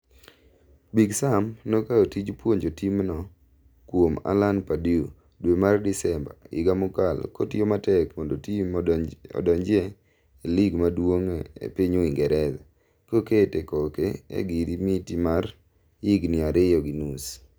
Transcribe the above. Big Sam nokaw tij puonjo timno kuom Alan Pardew dwe mar Desemba higa mokalo kotiyo matek mondo tim odong'ie e lig maduong' e piny Uingereza, kokete koke e giri miti mar higni ariyo gi nus.